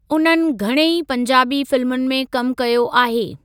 उन्हनि घणई पंजाबी फिल्मुनि में कमु कयो आहे।